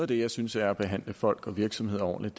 det jeg synes er at behandle folk og virksomheder ordentligt